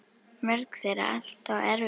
Mörg þeirra allt of erfið.